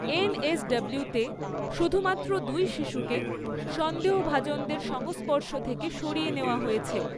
এনএসডব্লিউতে শুধুমাত্র দুই শিশুকে সন্দেহভাজনদের সংস্পর্শ থেকে সরিয়ে নেওয়া হয়েছে।